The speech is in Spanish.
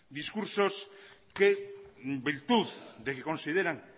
discurso que en virtud de que consideran